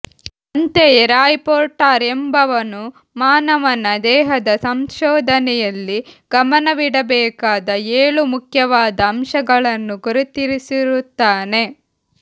ಅಂತೆಯೇ Roy Porter ಎಂಬುವವನು ಮಾನವನ ದೇಹದ ಸಂಶೋಧನೆಯಲ್ಲಿ ಗಮನವಿಡಬೇಕಾದ ಏಳು ಮುಖ್ಯವಾದ ಅಂಶಗಳನ್ನು ಗುರುತಿಸಿರುತ್ತಾನೆ